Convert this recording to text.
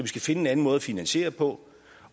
skal finde en anden måde at finansiere det på